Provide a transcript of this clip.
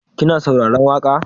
Kina saurarar waƙa?